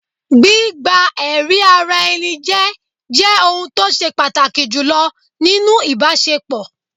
Gbígba ẹ̀rí ara ẹni jẹ́ jẹ́ ohun tó ṣe pàtàkì jùlọ nínú ìbásepọ̀